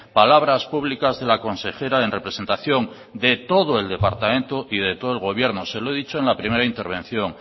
palabras públicas de la consejera en representación de todo el departamento y de todo el gobierno se lo he dicho en la primera intervención